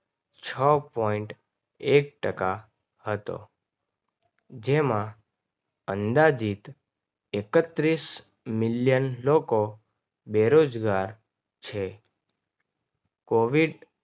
છ point એક ટકા હતો. જેમાં અંદાજીત એકત્રીસ Milion લોકો બેરોજગાર છે COVID છ point એક ટકા હતો